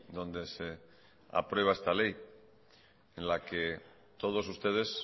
donde se aprueba esta ley en la que todos ustedes